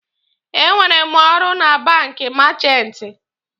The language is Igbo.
E nwetere m ọrụ na banki meechanti.